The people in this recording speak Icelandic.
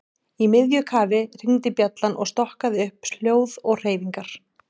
Í miðju kafi hringdi bjallan og stokkaði upp hljóð og hreyfingar.